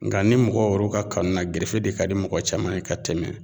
Nga ni mɔgɔw ka kanu na gerefe de ka di mɔgɔ caman ye ka tɛmɛ